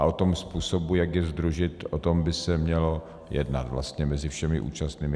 A o tom způsobu, jak je sdružit, o tom by se mělo jednat vlastně mezi všemi účastníky.